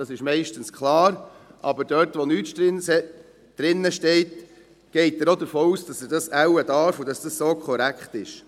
Dies ist meistens klar, aber dort, wo nichts drinsteht, geht er davon aus, dass er dies wohl darf und dass es so korrekt ist.